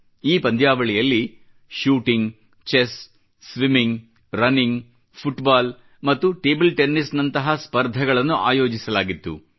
ಈ ಪಂದ್ಯಾವಳಿಯಲ್ಲಿ shooting chess swimming running football ಮತ್ತು ಟೇಬಲ್ ಟೆನ್ನಿಸ್ ನಂತಹ ಸ್ಪರ್ಧೆಗಳನ್ನು ಆಯೋಜಿಸಲಾಗಿತ್ತು